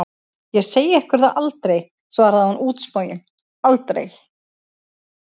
Ég segi ykkur það aldrei, svarði hún útsmogin, aldrei!